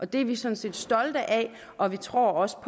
det er vi sådan set stolte af og vi tror også